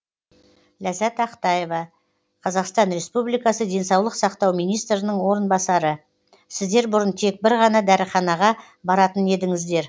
ләззат ақтаева қазақстан республикасы денсаулық сақтау министрінің орынбасары сіздер бұрын тек бір ғана дәріханаға баратын едіңіздер